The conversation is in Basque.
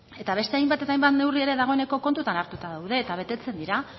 ez eta beste hainbat eta hainbat neurri ere dagoeneko kontutan hartuta daude eta betetzen dira